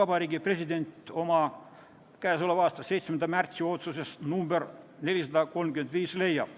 Vabariigi President oma k.a 7. märtsi otsuses nr 435 leiab.